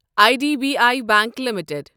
I D B I bank limited